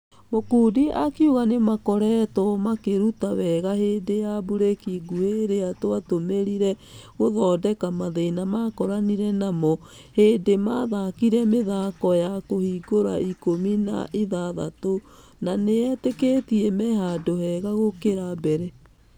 Mukundi akĩuga nĩmakoretwo makĩruta wega hĩndĩ ya breki nguhĩ ĩria twatũmerire gũthondeka mathĩna makoranire namo. Hindi mathakire mĩthako ya kũhingũra ikũmi na ithathatũ na nĩiteketie mehandũ hega gũkĩra mbere.